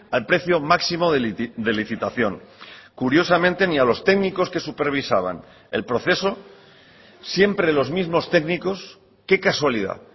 al precio máximo de licitación curiosamente ni a los técnicos que supervisaban el proceso siempre los mismos técnicos qué casualidad